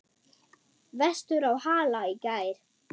Vestur á Hala í gær.